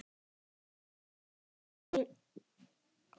Það er tómlegt án þín.